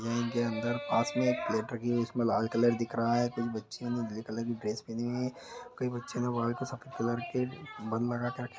यहाँ इनके अंदर पास में एक प्लेट रखी हुई है इसमें लाल कलर दिख रहा है। कुछ बच्चियों ने ग्रे कलर की ड्रेस पहनी हुई है। कई बच्चियों ने बाल में सफ़ेद कलर के बन लगा के रखे -